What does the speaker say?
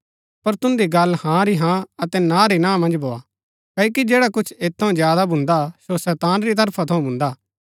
पर तुन्दी गल्ल हाँ री हाँ अतै ना री ना मन्ज भोआ क्ओकि जैडा कुछ ऐत थऊँ ज्यादा भुन्दा सो शैतान री तरफा थऊँ भुन्दा